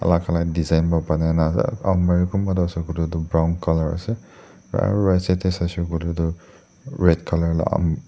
alak alak design pa banai na ase kunba toh ase koilae tu brown colour ase right side tae saishey koilae tu red colour la--